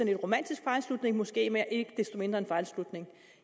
en romantisk fejlslutning måske men ikke desto mindre en fejlslutning